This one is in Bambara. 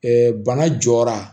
bana jɔra